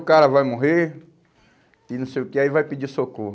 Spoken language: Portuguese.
O cara vai morrer e não sei o quê, aí vai pedir socorro.